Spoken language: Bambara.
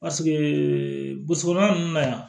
Paseke burusi kɔnɔna ninnu na yan